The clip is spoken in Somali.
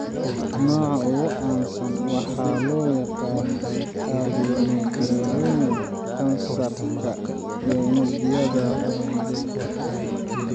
Nooca ugu caansan waxaa loo yaqaan adenocarcinoma (kansar unugyada qanjidhada).